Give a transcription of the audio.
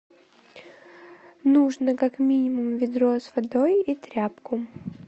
нужно как минимум ведро с водой и тряпку